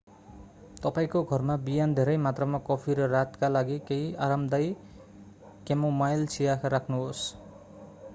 तपाईंको घरमा बिहान धेरै मात्रामा कफी र रातका लागि केही आरामदायी क्यामोमाइल चिया राख्नुहोस्‌।